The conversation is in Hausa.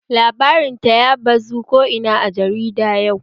Labarin ta ya bazu ko ina a jarida yau